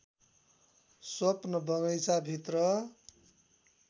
स्वप्न बगैंचाभित्र